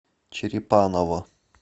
черепаново